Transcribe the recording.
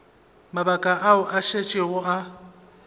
mabaka ao a šetšego a